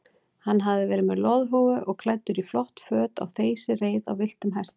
Hann hafði verið með loðhúfu og klæddur í flott föt á þeysireið á villtum hesti.